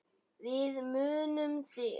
Við munum þig.